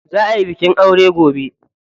Za ayi bikin aure gobe.